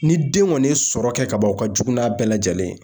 Ni den kɔni ye sɔrɔ kɛ kaban o ka jugu n'a bɛɛ lajɛlen ye.